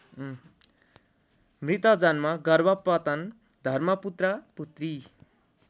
मृतजन्म गर्भपतन धर्मपुत्रपुत्री